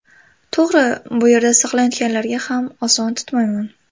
To‘g‘ri, bu yerda saqlanayotganlarga ham oson tutmayman.